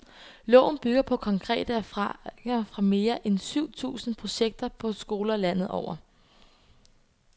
Loven bygger på konkrete erfaringer fra mere end syv tusind projekter på skoler landet over.